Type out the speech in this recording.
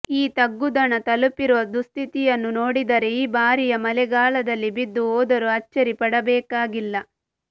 ಈ ತಂಗುದಾಣ ತಲುಪಿರುವ ದುಸ್ಥಿತಿಯನ್ನು ನೋಡಿದರೆ ಈ ಬಾರಿಯ ಮಳೆಗಾಲದಲ್ಲಿ ಬಿದ್ದು ಹೋದರೂ ಅಚ್ಚರಿ ಪಡಬೇಕಾಗಿಲ್ಲ